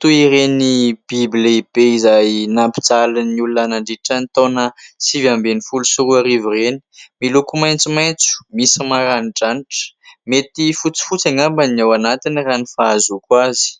toy ireny biby lehibe izay nampijaly ny olona nandritra ny taona sivy ambin'ny folo sy roarivo ireny. Miloko maisomaitso, misy maranidranitra. Mety fotsifotsy angamba ny ao anatiny raha ny fahazoako azy.